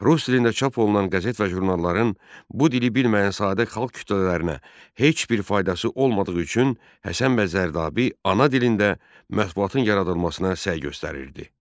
Rus dilində çap olunan qəzet və jurnalların bu dili bilməyən sadə xalq kütlələrinə heç bir faydası olmadığı üçün Həsən bəy Zərdabi ana dilində mətbuatın yaradılmasına səy göstərirdi.